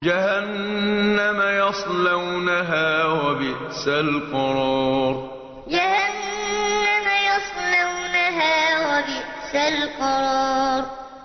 جَهَنَّمَ يَصْلَوْنَهَا ۖ وَبِئْسَ الْقَرَارُ جَهَنَّمَ يَصْلَوْنَهَا ۖ وَبِئْسَ الْقَرَارُ